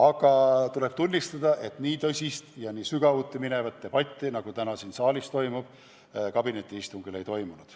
Aga tuleb tunnistada, et nii tõsist ja nii sügavuti minevat debatti, nagu täna siin saalis toimub, kabinetiistungil ei toimunud.